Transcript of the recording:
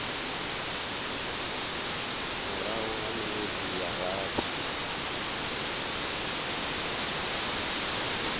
murahu ha minwedzi ya rathi